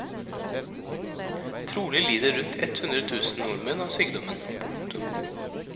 Trolig lider rundt ett hundre tusen nordmenn av sykdommen. punktum